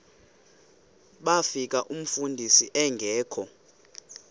bafika umfundisi engekho